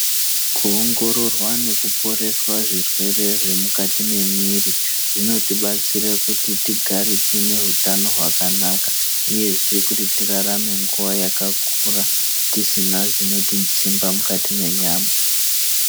Kuongororwa nekuporeswa zvirwere zvemukati mwemwiri zvinoti batsira kuti tigare tine hutano hwakanaka uyezve kuti tirarame nguwa yakakura tisina zvinotidzimba mukati mwenyama.